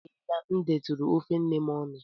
O teela m detụrụ ofe nne m ọnụ.